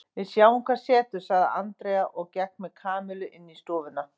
Við sjáum hvað setur sagði Andrea og gekk með Kamillu inn í stofuna.